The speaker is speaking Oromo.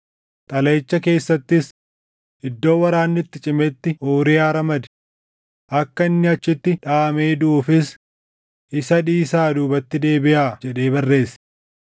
Xalayicha keessattis, “Iddoo waraanni itti cimetti Uuriyaa ramadi. Akka inni achitti dhaʼamee duʼuufis isa dhiisaa duubatti deebiʼaa” jedhee barreesse.